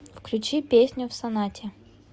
включи песню в сонате